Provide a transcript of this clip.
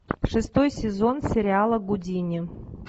шестой сезон сериала гудини